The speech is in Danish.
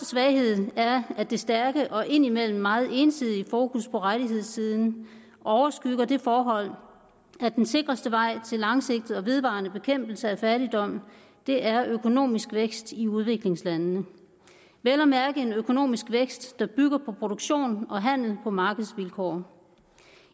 svaghed er at det stærke og ind imellem meget ensidige fokus på rettighedssiden overskygger det forhold at den sikreste vej til langsigtet og vedvarende bekæmpelse af fattigdom er økonomisk vækst i udviklingslandene vel at mærke en økonomisk vækst der bygger på produktion og handel på markedsvilkår